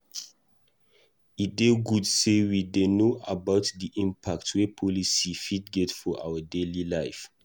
E dey good sey we dey know about di impact wey policy fit get for our daily life.